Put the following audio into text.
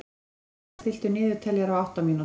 Hermína, stilltu niðurteljara á átta mínútur.